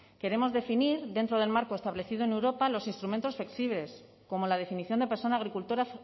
queremos definir dentro del marco establecido en europa los instrumentos flexibles como la definición de persona agricultora